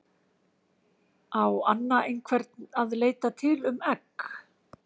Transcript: Á Anna einhvern að leita til um egg?